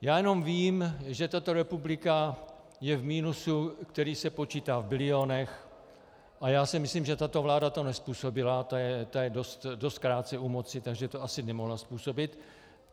Já jenom vím, že tato republika je v minusu, který se počítá v bilionech, a já si myslím, že tato vláda to nezpůsobila, ta je dost krátce u moci, takže to asi nemohla způsobit.